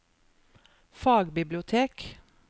fagbibliotek